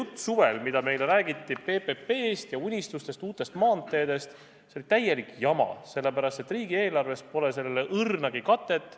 Kogu see jutt, mida meile suvel räägiti PPP-st ja unistustest, uutest maanteedest, oli täielik jama, sest riigieelarves pole sellele õrnagi katet.